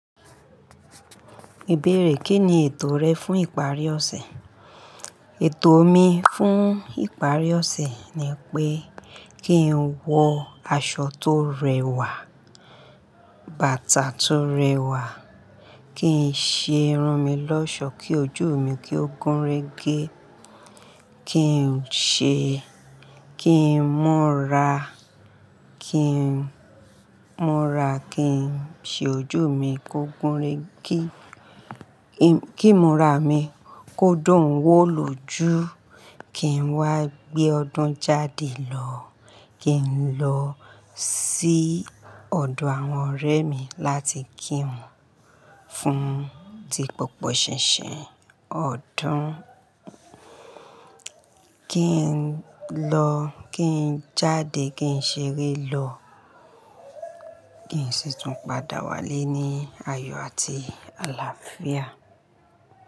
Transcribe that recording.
Ìbéèrè, Kí ni ètò rẹ fún ìparí ọ̀sẹ̀? Ètò mi fún ìparí ọ̀sẹ̀ ni pé kí n wọ aṣọ tó rẹwà, bàtà tó rẹwà, kí n ṣe irun mi lọ́ṣọ̀ọ́ kí ojú mi kí ó gúnrégé, kí n ṣe kí n múra, kí n múra, kí n ṣe ojú mi kó gúnrégé, kí ìmúra mi kó dùn wò lójú. Kí n wá gbé ọdún jáde lọ. Kí n lọ sí ọ̀dọ̀ àwọn ọ̀rẹ́ mi láti kí wọn fún ti gbogbo ṣinṣin ọdún. Kí n lọ, kí n jáde, kí n ṣeré lọ, kí n sì tún padà wálé ní ayọ̀ àti àlàáfíà.